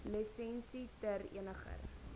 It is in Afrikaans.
lisensie ter eniger